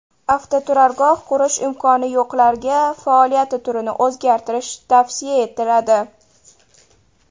Avtoturargoh qurish imkoni yo‘qlarga faoliyati turini o‘zgartirish tavsiya etiladi.